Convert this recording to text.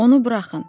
Onu buraxın.